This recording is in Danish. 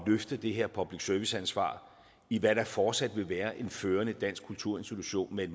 løfte det her public service ansvar i hvad der fortsat vil være en førende dansk kulturinstitution med